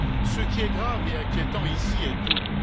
Ce qui est grave et inquiétant ici est double.